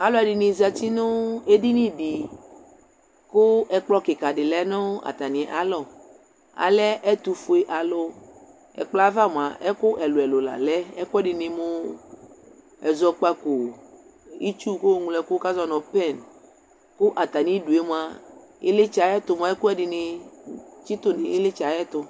alʋɛdini zati nʋ ɛdini di kʋ ɛkplɔ kikaa di lɛnʋ atani alɔ, alɛɛtʋƒʋɛ alʋ ɛkplɔɛ aɣa mʋa ɛkʋ ɛlʋɛlʋ la lɛ ɛkʋɛdi mʋ ɛzɔkpakɔ ,itsʋ kʋ ɔmlɔ ɛkʋ kʋ azɔnʋ pen kʋ atani idʋɛ mʋa ilitsɛ ayɛtʋ mʋa ɛkʋɛdi ni tsitʋ nʋ ilitsɛ ayɛtʋ